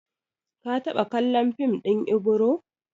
Ka taɓa kallon fim ɗin Ibro?